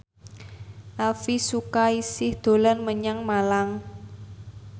Elvi Sukaesih dolan menyang Malang